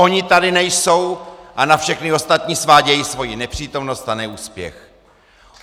Oni tady nejsou a na všechny ostatní svádějí svoji nepřítomnost a neúspěch.